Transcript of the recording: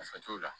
Nafa t'o la